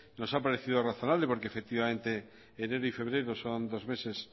nos ha parecido razonable porque efectivamente enero y febrero son dos meses